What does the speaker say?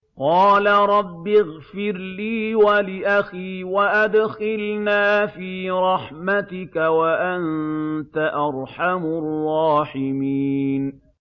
قَالَ رَبِّ اغْفِرْ لِي وَلِأَخِي وَأَدْخِلْنَا فِي رَحْمَتِكَ ۖ وَأَنتَ أَرْحَمُ الرَّاحِمِينَ